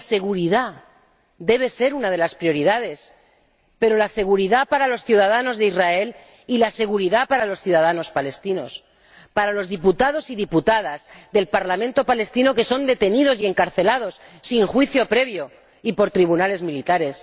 Y la seguridad debe ser una de las prioridades, pero la seguridad para los ciudadanos de Israel y la seguridad para los ciudadanos palestinos, para los diputados y diputadas del Parlamento palestino que son detenidos y encarcelados sin juicio previo y por tribunales militares.